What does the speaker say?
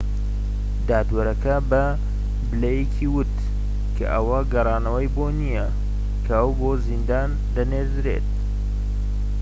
دادوەرەکە بە بلەیکی وت کە ئەوە گەڕانەوەی بۆ نیە کە ئەو بۆ زیندان دەنێردرێت